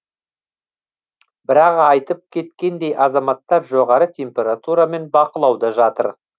бірақ айтып кеткендей азаматтар жоғары температурамен бақылауда жатыр